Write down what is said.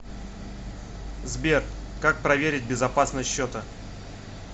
сбер как проверить безопасность счета